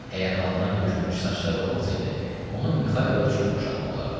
Əgər alına tökülmüş saçları olmasaydı, onun Mixailoya çox oxşatmaq olardı.